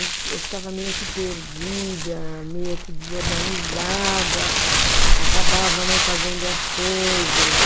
Eu ficava meio que perdida, meio que desorganizada, acabava não fazendo as coisas.